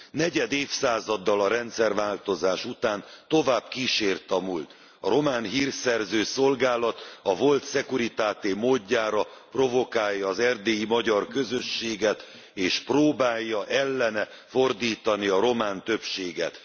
Negyed évszázaddal a rendszerváltozás után tovább kísért a múlt a Román Hírszerző Szolgálat a volt Securitate módjára provokálja az erdélyi magyar közösséget, és próbálja ellene fordítani a román többséget.